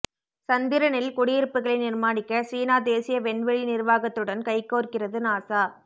சந்திரனில் குடியிருப்புகளைக் நிர்மாணிக்க சீனா தேசிய வெண்வெளி நிர்வாகத்துடன் கைகோர்கிறது நாசா